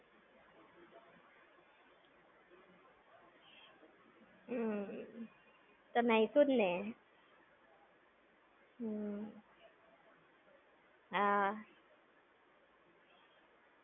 હમ્મ. તો નાઈશુ જ ને! હમ્મ. હા.